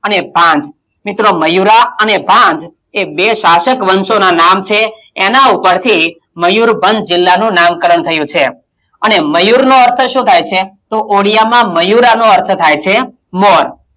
અને ભાંજ મિત્રો મયૂરાં અને ભાંજ એ બે શાસક વંશોના નામ છે એનાં ઉપરથી મયુરભંજ જિલ્લાનું નામકરણ થયું છે અને મયૂર નો અર્થ શું થાય છે? તો ઓડિયામાં મયૂરાં નો અર્થ થાય છે મોર,